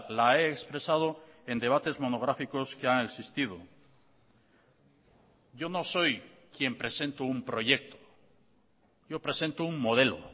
la he expresado en debates monográficos que han existido yo no soy quien presento un proyecto yo presento un modelo